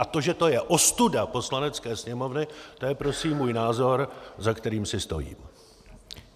A to, že to je ostuda Poslanecké sněmovny, to je prosím můj názor, za kterým si stojím!